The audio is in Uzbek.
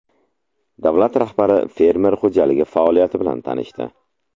Davlat rahbari fermer xo‘jaligi faoliyati bilan tanishdi.